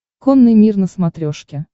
конный мир на смотрешке